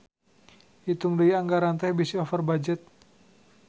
Itung deui anggaran teh bisi over budget